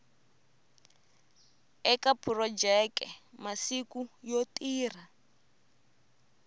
eka phurojeke masiku yo tirha